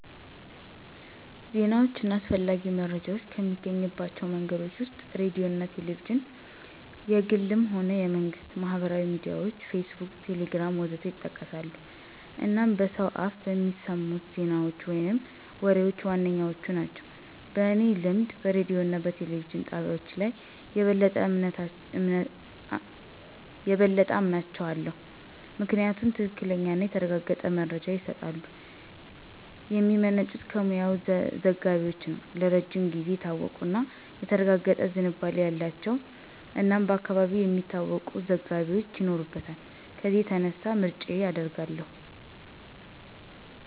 ዜናዎች እና አስፈላጊ መረጃዎች ከምናገኝባቸው መንገዶች ወስጥ ሬዲዮ አና ቴሌቪዥንና(የግልም ሆነ የመንግስት)፣ማህበራዊ ሚዲያዎች (ፌስቡክ፣ ቴሌግራም.... ወዘት) ይጠቀሳሉ አናም በሰው አፍ በሚሰሙት ዜናዎች ወይም ወሬዎች ዋነኛዎቹ ናቸው። በኔ ልምድ በሬዲዮ እና በቴሌቪዥን ጣቢያዎች ላይ የበለጠ አምናቸው አለው። ምክንያቱም ትክክለኛና የተረጋገጠ መረጃ ይስጣሉ፣ የሚመነጩት ከሙያዊ ዘጋቢዎች ነው፣ ለረጅም ጊዜው የታወቁ እና የተረጋገጠ ዝንባሌ አላቸው እናም በአካባቢው የሚታወቁ ዘጋቢዎች ይኖሩታል ከዚያ የተነሳ ምርጫየ አድርጋው አለሁ።